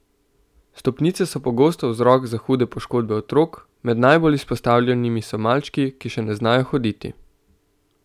Stopnice so pogosto vzrok za hude poškodbe otrok, med najbolj izpostavljenimi so malčki, ki še ne znajo hoditi.